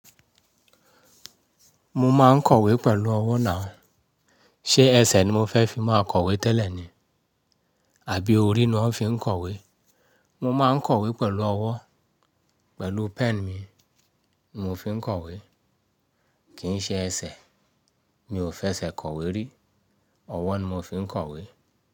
Mo máa ń kọ̀wé pẹ̀lú ọwọ́ nàú. Ṣé ẹsẹ̀ ni mo fẹ́ fi máa kọ̀wé tẹ́lẹ̀ ni? Àbí orí ni wọn fi ń kọ̀wé? Mo máa ń kọ̀wé pẹ̀lú ọwọ́, pẹ̀lú pen mi, mo fi ń kọ̀wé. Kì í ṣe ẹsẹ̀, mi ò fẹ́ ẹsẹ̀ kọ̀wé rí. Ọwọ́ ni mo fi ń kọ̀wé.